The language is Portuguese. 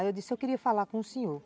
Aí eu disse, eu queria falar com o senhor.